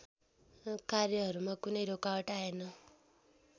कार्यहरूमा कुनै रोकावट आएन